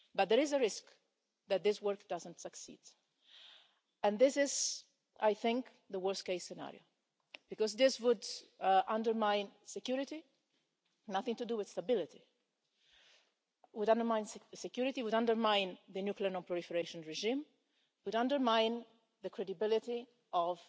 But there is a risk that this work does not succeed. I think this is the worst case scenario because this would undermine security nothing to do with stability and would undermine the nuclear non-proliferation regime and the credibility